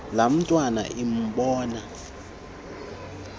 laa ntwana imbona